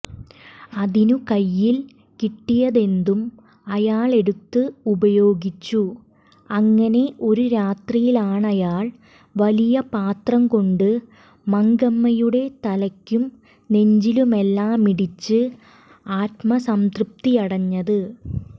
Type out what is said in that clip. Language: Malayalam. അതിനു കൈയിൽ കിട്ടിയതെന്തും അയാളെടുത്ത് ഉപയോഗിച്ചു അങ്ങനെ ഒരു രാത്രിയിലാണയാൾ വലിയ പാത്രം കൊണ്ട് മങ്കമ്മയുടെ തലക്കും നെഞ്ചിലുമെല്ലാമിടിച്ച് ആത്മസംതൃപ്തിയടഞ്ഞത്